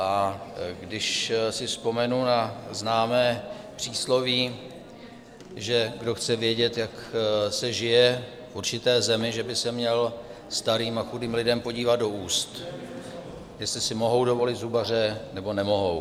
A když si vzpomenu na známé přísloví, že kdo chce vědět, jak se žije v určité zemi, že by se měl starým a chudým lidem podívat do úst, jestli si mohou dovolit zubaře, nebo nemohou.